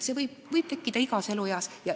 See vajadus võib tekkida igas elueas.